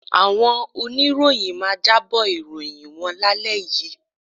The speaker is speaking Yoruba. Àwọn oníròyìn máa jábọ̀ ìròyìn wọn lálẹ́ yìí